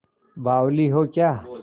बावली हो क्या